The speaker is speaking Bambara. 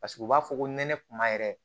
Paseke u b'a fɔ ko nɛnɛ kuma yɛrɛ